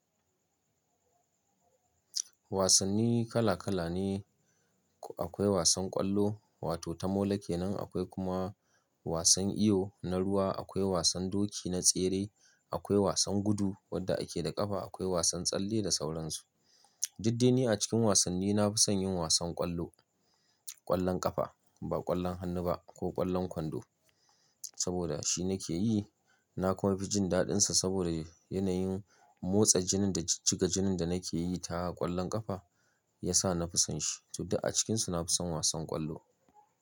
Wasanni kala kala ne. Akwai wasan ƙwallo, wato ta mola kenan. Akwai kuma wasan iyo na ruwa. Akwai wasan doki na tsere. Akwai wasan gudu wadda ake da ƙafa. Akwai wasan tsalle da sauran su. Didde ni a cikin wasanni na fi son yin wasan ƙwallo, ƙwallon ƙafa ba ƙwallon hannu ba ko ƙwallon kwando. Saboda shi nake yi. Na kuma fi jin daɗinsa saboda yanayin motsa jinin da jiga jinin da nake yi ta ƙwallon ƙafa ya sa na fi son shi. Dto duk a cikinsu na fi son wasan ƙwallo.